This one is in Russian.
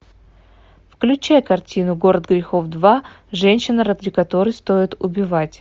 включай картину город грехов два женщина ради которой стоит убивать